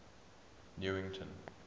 newington